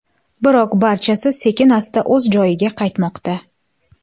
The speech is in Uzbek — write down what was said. Biroq barchasi sekin-asta o‘z joyiga qaytmoqda.